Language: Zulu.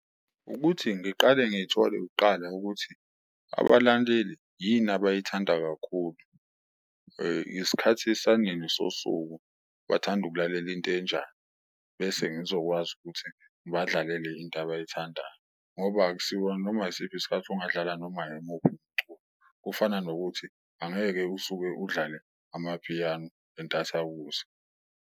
Ukuthi ngiqale ngithole kuqala ukuthi abalandeli yini abayithanda kakhulu, isikhathi sanini sosuku bathanda ukulalela intenjani bese ngizokwazi ukuthi ngibadlalele into abayithandayo, ngoba akusiwona noma isiphi isikhathi ongadlala noma imuphi umculo. Kufana nokuthi angeke usuke udlale amaphiyano entathakusa.